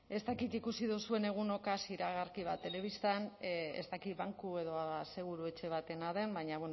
ez dakit ikusi duzuen iragarki bat telebistan ez dakit banku edo aseguru etxe batena den baina